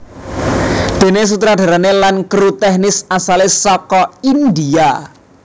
Déné sutradarané lan kru tèknis asalé saka India